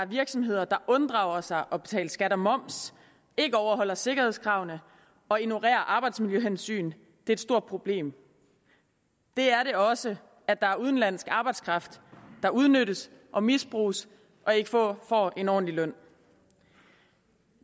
virksomheder der unddrager sig at betale skat og moms ikke overholder sikkerhedskravene og ignorerer arbejdsmiljøhensyn er et stort problem det er det også at der er udenlandsk arbejdskraft der udnyttes og misbruges og ikke får en ordentlig løn